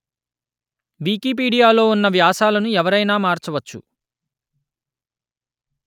వికీపీడియాలో ఉన్న వ్యాసాలను ఎవరయినా మార్చవచ్చు